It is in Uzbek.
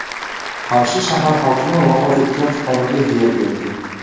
Qarshi shahar hokimi vafot etgan fuqaroga yer berdi.